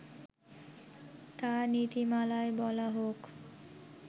তা নীতিমালায় বলা হোক